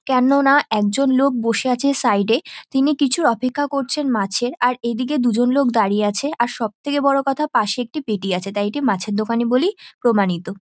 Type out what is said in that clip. কেননা একজন লোক বসে আছে সাইড -এ তিনি কিছুর অপেক্ষা করছেন মাছে আর এদিকে দুজন লোক দাঁড়িয়ে আছে আর সব থেকে বড় কথা পাশে একটি পেটি আছে। তাই এটি মাছের দোকান-ই বলেই প্রামানিত।